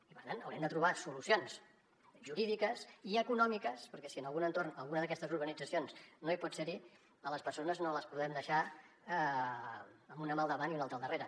i per tant haurem de trobar solucions jurídiques i econòmiques perquè si en algun entorn alguna d’aquestes urbanitzacions no hi pot ser a les persones no les podem deixar amb una mà al davant i una altra al darrere